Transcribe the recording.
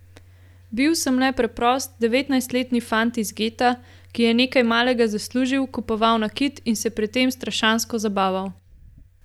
Bil sem le preprost devetnajstletni fant iz geta, ki je nekaj malega zaslužil, kupoval nakit in se pri tem strašansko zabaval.